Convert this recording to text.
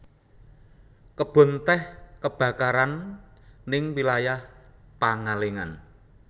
Kebon teh kebarakaran ning wilayah Pangalengan